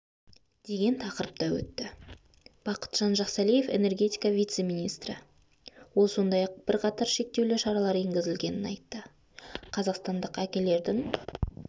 деген тақырыпта өтті бақытжан жақсәлиев энергетика вице-министрі ол сондай-ақ бірқатар шектеулі шаралар енгізілгенін айтты қазақстандық әкелердің